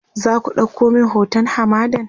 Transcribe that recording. zaku ɗauko min hoton hamadan?